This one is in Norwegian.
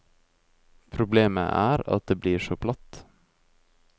Problemet er at det blir så platt.